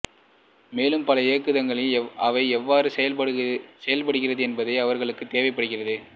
மேலும் பல இயக்குதளங்களில் அவை எவ்வாறு செயல் படுகிறது என்பது அவர்களுக்கு தேவைப்படுகிறது